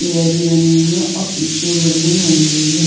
Pair भी बनी हुई है और पीछे बिल्डिंग बनी हुई है।